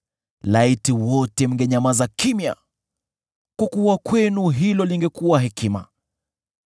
Laiti wote mngenyamaza kimya! Kwa kuwa kwenu hilo lingekuwa hekima.